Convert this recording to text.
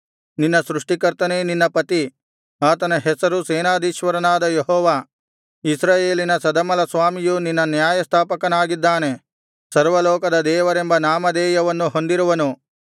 ನಿನ್ನ ಸೃಷ್ಟಿಕರ್ತನೇ ನಿನ್ನ ಪತಿ ಆತನ ಹೆಸರು ಸೇನಾಧೀಶ್ವರನಾದ ಯೆಹೋವ ಇಸ್ರಾಯೇಲಿನ ಸದಮಲಸ್ವಾಮಿಯು ನಿನ್ನ ನ್ಯಾಯಸ್ಥಾಪಕನಾಗಿದ್ದಾನೆ ಸರ್ವಲೋಕದ ದೇವರೆಂಬ ನಾಮಧೇಯವನ್ನು ಹೊಂದಿರುವನು